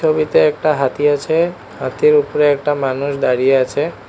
ছবিতে একটা হাতি আছে হাতির উপরে একটা মানুষ দাঁড়িয়ে আছে।